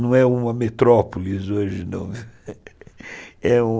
Não é uma metrópoles hoje, não. é um